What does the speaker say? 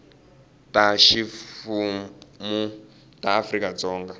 ta ximfumu ta afrika dzonga